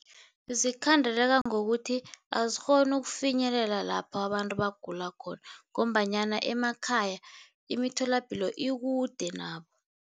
Zikhandeleka ngokuthi azikghoni ukufinyelela lapho abantu bagula khona, ngombanyana emakhaya imitholapilo ikude nabo.